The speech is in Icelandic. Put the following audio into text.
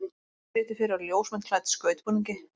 Hún situr fyrir á ljósmynd klædd skautbúningi.